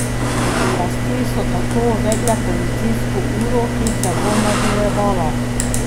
Oblasti so tako uvedle policijsko uro, ki se bo nadaljevala.